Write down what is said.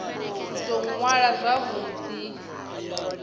u tou ṅwala zwavhu ḓi